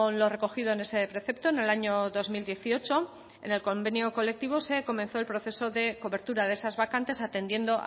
lo recogido en ese precepto en el año dos mil dieciocho en el convenio colectivo se comenzó el proceso de cobertura de esas vacantes atendiendo